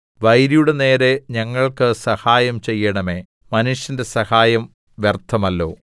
വൈരിയുടെ നേരെ ഞങ്ങൾക്ക് സഹായം ചെയ്യണമേ മനുഷ്യന്റെ സഹായം വ്യർത്ഥമല്ലോ